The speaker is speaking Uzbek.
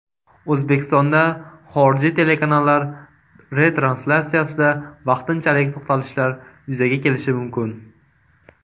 O‘zbekistonda xorijiy telekanallar retranslyatsiyasida vaqtinchalik to‘xtalishlar yuzaga kelishi mumkin.